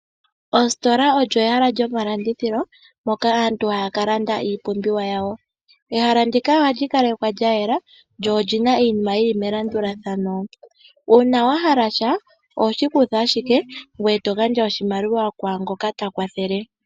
Ositola olyo ehala lyomalandithilo moka aantu haya kalanda iipumbiwa yawo. Ehala ndika ohali kalekwa lya yela lyo oli na iinima yi li melandulathano. Uuna wa hala sha oho shi kutha ashike ngoye eto gandja oshimaliwa kwaangoka ta kwathele.